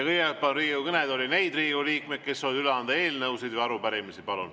Kõigepealt palun Riigikogu kõnetooli neid Riigikogu liikmeid, kes soovivad üle anda eelnõusid või arupärimisi.